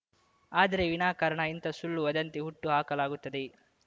ಆದರೆ ವಿನಾಕಾರಣ ಇಂತಹ ಸುಳ್ಳು ವದಂತಿ ಹುಟ್ಟು ಹಾಕಲಾಗುತ್ತದೆ